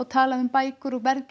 talað um bækur og verð